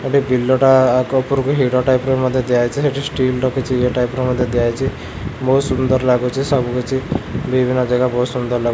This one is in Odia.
ଏଠି ବିଲଟା ଆଗ ଉପରକୁ ହିଡ଼ ଟାଇପ୍ ର ମଧ୍ୟ ଦିଆଯାଇଚି ସେଠି ଷ୍ଟିଲ୍ ର କିଛି ଇଏ ଟାଇପ୍ ର ମଧ୍ୟ ଦିଆହେଇଚି ବହୁତ ସୁନ୍ଦର ଲାଗୁଚି ସବୁ କିଛି ବିଭିନ୍ନ ଜାଗା ବହୁତ୍ ସୁନ୍ଦର ଲାଗୁ--